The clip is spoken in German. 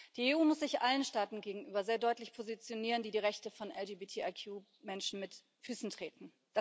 Die EU muss sich allen Staaten gegenüber sehr deutlich positionieren, die die Rechte von LGBTIQ Menschen mit Füßen treten.